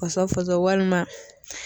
Fɔsɔn fɔsɔn walima